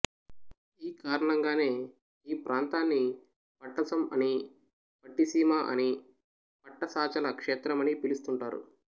ఈ కారణంగానే ఈ ప్రాంతాన్ని పట్టసమనీ పట్టిసీమనీ పట్టసాచల క్షేత్రమని పిలుస్తుంటారు